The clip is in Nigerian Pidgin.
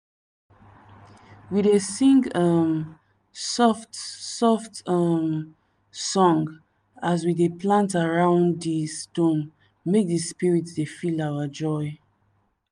we dey sing um soft soft um song as we dey plant around di stone make di spirit dey feel our joy.